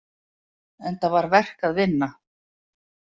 Enda var verk að vinna.